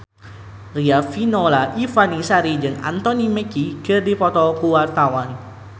Riafinola Ifani Sari jeung Anthony Mackie keur dipoto ku wartawan